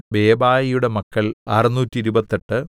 ബേബായിയുടെ മക്കൾ അറുനൂറ്റിരുപത്തെട്ട്